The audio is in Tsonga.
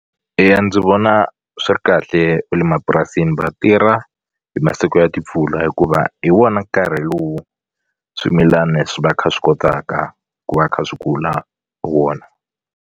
Eya ndzi vona swi ri kahle va le mapurasini va tirha hi masiku ya timpfula hikuva hi wona nkarhi lowu swimilani swi va kha swi kotaka ku va kha swi kula hi wona.